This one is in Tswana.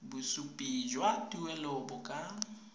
bosupi jwa tuelo bo ka